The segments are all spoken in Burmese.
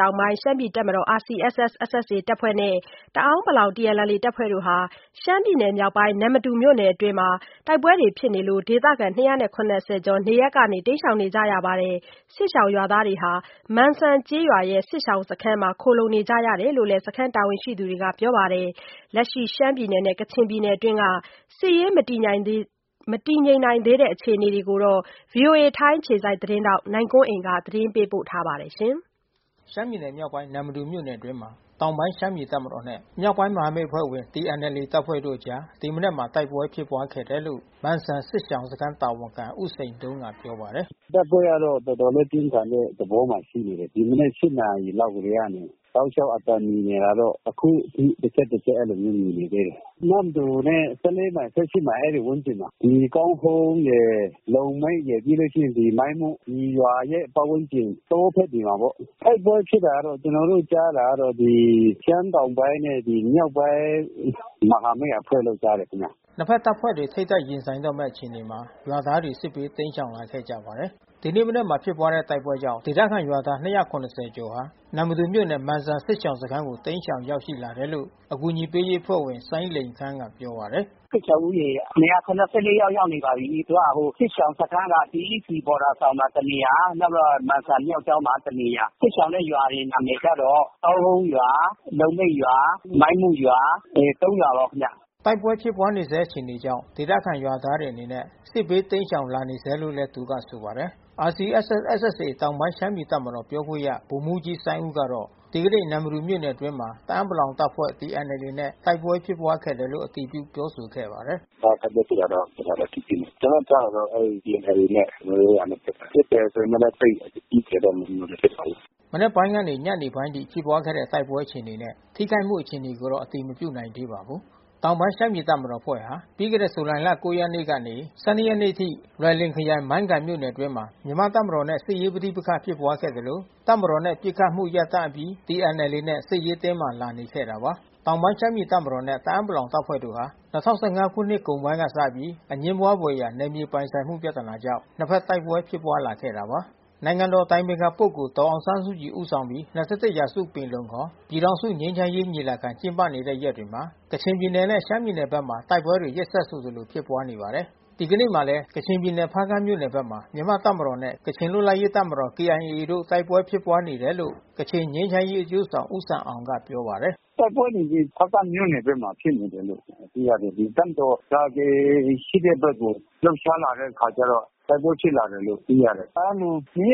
တောင်ပိုင်း ရှမ်းပြည်တပ်မတော်RCSS/SSA တပ်ဖွဲ့နဲ့ တအာင်းပလောင်TNLAတပ်ဖွဲ့တို့ ရှမ်းပြည်နယ် မြောက်ပိုင်းနမ္မတူမြို့နယ်အတွင်း တိုက်ပွဲကြောင့် ဒေသခံ ကျော် နေရပ်ကနေတိမ်းရှောင်နေရပါတယ်။ စစ်ရှောင် ရွာသားတွေဟာ မန်စံကျေးရွာစစ်ရှောင်စခန်းမှာ ခိုလှုံနေရတယ်လို့လဲ စခမ်းတာဝန်ရှိသူတွေကပြောပါတယ်။ လက်ရှိ ရှမ်းပြည်နယ်နဲ့ကချင်ပြည်နယ်အတွင်း စစ်ရေးမတည်ငြိမ်သေးတဲ့အခြေအနေကိုတော့ ဗွီအိုအေထိုင်းအခြေစိုက် သတင်းထောက် နိုင်ကွန်းအိန်ကနေသတင်းပေးပို့ထားပါတယ်။ ရှမ်းပြည်နယ်မြောက်ပိုင်းနမ္မတူမြို့နယ်အတွင်းမှာ တောင်ပိုင်းရှမ်းပြည်တပ်မတော်နဲ့ မြောက်ပိုင်းမဟာမိတ်အဖွဲ့ဝင် TNLAတပ်ဖွဲ့တို့အကြား ဒီမနက်မှာတိုက်ပွဲဖြစ်ပွါးခဲ့တယ်လို့ မန်စံစစ်ရှောင်စခမ်းတာဝန်ခံ ဦးစိန်တုံးကပြောပါတယ်။ "တိုက်ပွဲကတော့တော်တော်လေးပြင်းထန်တဲ့သဘောမှာရှိနေတယ်။ ဒီမနက် နာရီလောက်ကတည်းကနေ တောက် လျှောက်အသံမြည်နေတာတော့ အခုထိတချက်တချက် အဲဒီလိုမျိုးမြည်နေသေးတယ်။ နမ္မတူနဲ့ မိုင် မိုင် အဲဒီ ဝန်းကျင်မှာ။ ဒီကောင်းဟုန်းရယ်။ လုံမန်းရယ် ပြီးလို့ရှိရင် မိုင်းမု ဒီရွာရဲ့ပတ်ဝန်းကျင် တောဖက်တွေမှာပေါ့။ တိုက်ပွဲ ဖြစ်တာတော့ကျွန်တော်တို့ကြားတာတော့ ဒီ ရှမ်းတောင်ပိုင်းနဲ့မြောက်ပိုင်းမဟာမိတ်အဖွဲ့လို့ကြားတယ်ခင်ဗျ။" နှစ်ဖက်တပ်ဖွဲ့တွေထိပ်တိုက်ရင်ဆိုင်တော့မဲ့အခြေအနေမှာ ရွာသားတွေစစ်ဘေးတိမ်းရှောင်လာခဲ့ကြပါတယ်။ ဒီနေ့မနက်ဖက်မှာဖြစ်ပွါးတဲ့တိုက်ပွဲကြောင့် ဒေသခံကျေးရွာသား ကျော်ဟာ နမ္မတူမြို့နယ် မန်စံစစ်ရှောင် စခမ်းကို တိမ်းရှောင်ရောက်ရှိနေတယ်လို့ အကူညီပေးရေးအဖွဲ့ဝင် စိုင်းလိန်ခမ်းကပြောပါတယ်။ "စစ်ရှောင်ဦးရေ ယောက် ရောက်နေပါပြီး။ သူကစစ်ရှောင်စခမ်းက CECဘော်ဒါဆောင်မှာတနေရာ နောက်ပြီး တော့ မန်စံမြောက်ကျောင်းမှာတနေရာ။ စစ်ရှောင်တဲ့ရွာတွေနံမယ်ကတော့ ကောင်းဟုန်းရွာ လွယ်မိတ်ရွာ မိုင်းမုရွာ ဒီ ရွာပါခင်ဗျ။" တိုက်ပွဲဖြစ်ပွါးနေဆဲအခြေအနေကြောင့် ဒေသခံကျေးရွာသားတွေအနေနဲ့ စစ်ဘေးတိမ်းရှောင်လာနေဆဲလို့လဲ သူကဆိုပါတယ်။ RCSS/SSAတောင်ပိုင်းရှမ်းပြည်တပ်မတော်ပြောခွင့်ရ ဗိုလ်မှူးကြီးစိုင်းဦးကတော့ ဒီကနေ့နမ္မတူမြို့နယ်အတွင်းမှာ တအာင်းပလောင်တပ်ဖွဲ့TNLAနဲ့တိုက်ပွဲဖြစ်ခဲ့တယ်လို့ အတည်ပြုပြောဆိုပါတယ်။ "တိုက်ပွဲဖြစ်တာတော့ကျွန်တော်တို့အတည်ပြုတယ်။ ကျွန်တော်တို့ကြားတာတော့TNLAနဲ့ကျွန်တော်တို့နဲ့ဖြစ်တယ်။ ဖြစ်တယ်ဆိုပေမဲ့လဲ သိပ်အကြီးအကျယ်တော့မဖြစ်ပါဘူး။" မနက်ပိုင်းကနေ ညနေပိုင်းအချိန်ထိဖြစ်ပွါးခဲ့တဲ့တိုက်ပွဲအခြေအနေနဲ့ နှစ်ဖက်ထိခိုက်အခြေအနေကို အတည်မပြုနိုင် သေးပါဘူး။ တောင်ပိုင်းရှမ်းပြည်တပ်မတော်အဖွဲ့ဟာ ပြီးခဲ့တဲ့ဇူလိုင်လ ရက်နေ့ကနေ ရက်နေ့အထိ လွိုင်လင်ခရိုင် မိုင်းကိုင်မြို့နယ်အတွင်းမှာမြန်မာ့တပ်မတော်နဲ့ စစ်ရေးပဋိပက္ခဖြစ်ပွါးခဲ့သလို တပ်မတော်နဲ့ ပစ်ခတ်မှုရပ်တန့်အပြီး TNLAနဲ့ စစ်ရေးတင်းမာလာနေခဲ့တာပါ။ တောင်ပိုင်းရှမ်းပြည်တပ်မတော်နဲ့တအာင်းပလောင်တပ်ဖွဲ့တို့ဟာ ၂၀၁၅ခုနှစ်ကုန်ပိုင်းကစပြီး အငြင်းပွါးဘွယ်ရာ နယ်မြေပိုင်ဆိုင်မှုပြဿနာကြောင့်နှစ်ဖက်တိုက်ပွဲဖြစ်ပွါးလာခဲ့တာပါ။ နိုင်ငံတော်အတိုင်ပင်ခံပုဂ္ဂိုလ်ဒေါ်အောင်ဆန်းစုကြည်ဦးဆောင်ပြီး ၂၁ရာစုပင်လုံခေါ် ပြည်ထောင်စုငြိမ်းချမ်းရေး ညီလာခံ ကျင်းပနေတဲ့ရက်တွေမှာ ကချင်ပြည်နယ်နဲ့ရှမ်းပြည်နယ်ဘက်တွေမှာ တိုက်ပွဲတွေရက်ဆက်ဆိုသလို ဖြစ်ပွါးနေပါတယ်။ ဒီကနေ့မှာလဲ ကချင်ပြည်နယ် ဖါးကန့်မြို့နယ်ဘက်မှာ မြန်မာ့တပ်မတော်နဲ့ ကချင်လွတ်လပ်ရေးတပ်မတော်KIA တို့ တိုက်ပွဲဖြစ်ပွါးနေတယ်လို့ ကချင်ငြိမ်းချမ်းရေးအကျိုးဆောင် ဦးဆမ်အောင်ကပြောပါတယ်။ "တိုက်ပွဲတွေတော့ဖါးကန့်မြို့နယ်ဘက်မှာဖြစ်နေတယ်လို့သိရတယ်။ တပ်မတော်က KIAရှိတဲ့ဘက်ကို လှုပ်ရှားလာ တဲ့အခါကျတော့ တိုက်ပွဲဖြစ်လာတာလို့သိရတယ်။ အဲ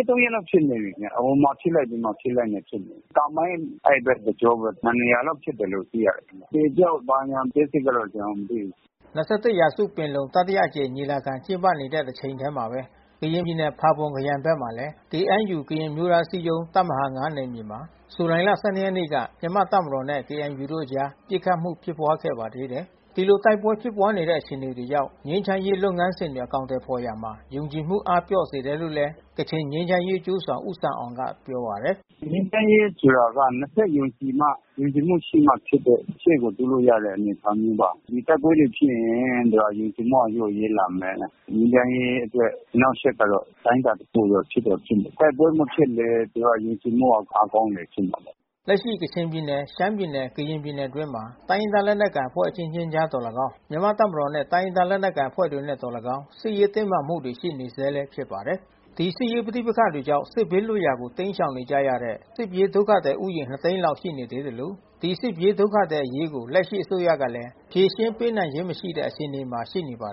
ဒီလို ရက် ရက်လောက်ဖြစ်နေပြီး။ ဟိုမှာဖြစ်လိုက် ဒီမှာ ဖြစ်လိုက်။ ကာမိုင်းအဲဒီဘက်တကြောဘဲ။ နှစ်နေရာလောက်ဖြစ်တယ်လို့သိရတယ်။ အသေအပျောက်ဘာညာ အသေးစိပ်တော့ကျွန်တော်မသိဘူး။" ၂၁ရာစုပင်လုံတတိယအကြိမ်ညီလာခံကျင်းပနေတဲ့တချိန်ထဲမှာဘဲ ကရင်ပြည်နယ် ဖါပွန်ခရိုင်ဘက်မှာလဲ ကရင် အမျိုးသားအစည်းအရုံးတပ်မဟာ နယ်မြေ မှာ ဇူလိုင်လ ၁၂ ရက်နေ့က မြန်မာ့တပ်မတော်နှင့် ကေအဲန်ယူ အဖွဲ့တို့အကြား ပစ်ခတ်မှုဖြစ်ပွားခဲ့ပါတယ်။ ဒီလိုတိုက်ပွဲဖြစ်ပွါးနေတဲ့အခြေအနေတွေကြောင့် ငြိမ်းချမ်းရေးလုပ်ငန်းစဉ်တွေအကောင်အထည်ဖေါ်ရာမှာ ယုံကြည် မှုတွေအားပျော့စေတယ်လို့လဲ ကချင်ငြိမ်းချမ်းရေးအကျိုးဆောင် ဦးဆမ်အောင်ကပြောပါတယ်။ "ငြိမ်းချမ်းရေးဆိုတာ နှစ်ဖက်ယုံကြည်မှ ယုံကြည်မှုရှိမှ ဖြစ်တဲ့ရှေ့ကိုတိုးလို့ရတဲ့ အနေအထားမျိုးပါ။ ဒီတိုက်ပွဲတွေ ဖြစ်ရင် ယုံကြည်မှုကလျော့ရဲလာမယ်။ ငြိမ်းချမ်းရေးအတွက်အနှောက်အယှက်ကတော့ အတိုင်းတာတခုတော့ ဖြစ်တော့ဖြစ်မယ်။ တိုက်ပွဲမဖြစ်လေ ဆိုတော့ ယုံကြည်မှုကအားကောင်းလေဖြစ်မယ်။" လက်ရှိကချင်ပြည်နယ် ရှမ်းပြည်နယ်ကရင်ပြည်နယ်အတွင်းမှာ တိုင်းရင်းသားလက်နက်ကိုင်အဖွဲ့အချင်းချင်းကြား သော်၎င်း မြန်မာ့တပ်မတော်နဲ့တိုင်းရင်းသားလက်နက်ကိုင်အဖွဲ့တွေနဲ့သော်၎င်း စစ်ရေးတင်းမာမှုတွေရှိနေ ဆဲဖြစ်ပါတယ်။ ဒီစစ်ရေးပဋိပက္ခတွေကြောင့် စစ်ဘေးလွတ်ရာကိုတိမ်းရှောင်နေကြရတဲ့ စစ်ပြေးဒုက္ခသည်ဦးရေ သိန်းလောက် ရှိနေသေးသလို ဒီစစ်ပြေးဒုက္ခသည်အရေးကို လက်ရှိအစိုးရကလဲ ဖြေရှင်းပေးနိုင်ခြင်းမရှိတဲ့အခြေအနေမှာရှိနေ ပါတယ်